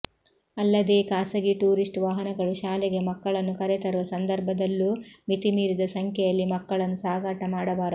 ಅಲ್ಲದೇ ಖಾಸಗಿ ಟೂರಿಸ್ಟ್ ವಾಹನಗಳು ಶಾಲೆಗೆ ಮಕ್ಕಳನ್ನು ಕರೆ ತರುವ ಸಂದರ್ಭದಲ್ಲೂ ಮಿತಿ ಮೀರಿದ ಸಂಖ್ಯೆಯಲ್ಲಿ ಮಕ್ಕಳನ್ನು ಸಾಗಾಟ ಮಾಡಬಾರದು